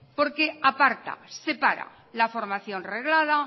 porque aparta separa la formación reglada